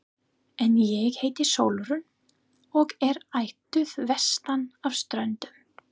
En ég heiti Sólrún og er ættuð vestan af Ströndum.